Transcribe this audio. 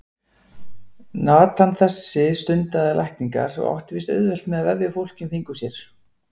Natan þessi stundaði lækningar og átti víst auðvelt með að vefja fólki um fingur sér.